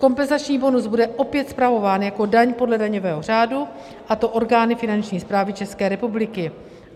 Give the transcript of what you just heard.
Kompenzační bonus bude opět spravován jako daň podle daňového řádu, a to orgány Finanční správy České republiky.